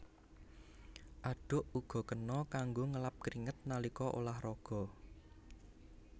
Andhuk uga kena kanggo ngelap kringet nalika ulah raga